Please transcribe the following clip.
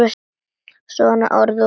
Svona orð og orð.